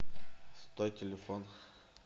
сто телефон